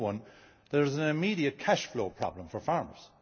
Number one, there is an immediate cash flow problem for farmers.